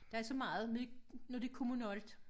Der er så meget med når det kommunalt